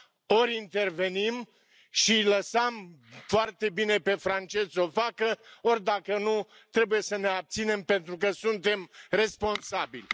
Ori intervenim și îi lăsam foarte bine pe francezi s o facă, ori dacă nu, trebuie să ne abținem, pentru că suntem responsabili.